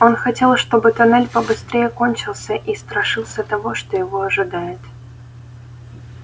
он хотел чтобы тоннель побыстрее кончился и страшился того что его ожидает